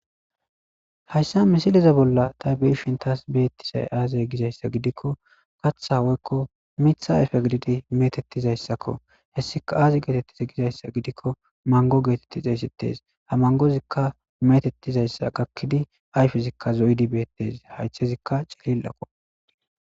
Hayssa misileza bolla ta be7ishin taas beettisay aaze gizayssa gidikko katha woykko mitha ayfe gididi metettizayssakko. Hessika aazi geetettizi gizayssa gidikko manggo geetetti xeessettes. Ha manggozikka metettizayssa gakkidi ayfezikka zo 7idi bettes. Haythazikka cilillako.